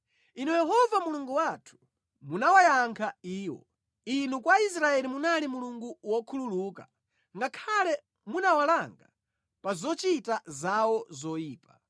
Inu Yehova Mulungu wathu, munawayankha iwo; Inu kwa Israeli munali Mulungu wokhululuka, ngakhale munawalanga pa zochita zawo zoyipa.